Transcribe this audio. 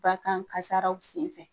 Ba kan kasaraw sen fɛ.